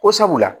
Ko sabula